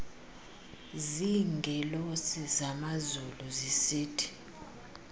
ziingelosi zamazulu zisithi